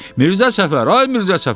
Mirzə Səfər, ay Mirzə Səfər!